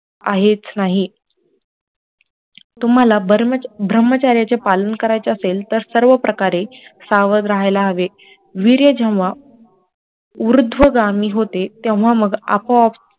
आहेच नाही तुम्हाला ब्रम्हचर्य चे पालन करायचे असेल तर सर्व प्रकारे सावध राहायला हवे, वीर्य जेव्हा ऊर्ध्वगामी होते तेव्हा मग आपोआप